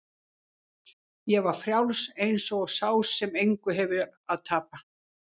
Ég var frjáls eins og sá sem engu hefur að tapa.